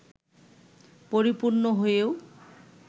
পরিপূর্ণ হয়েও